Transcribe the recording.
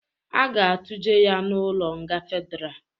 A ga atụje ya n'ụlọ nga fedra